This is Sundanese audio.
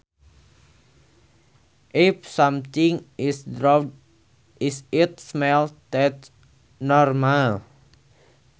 If something is dwarf is it smaller than normal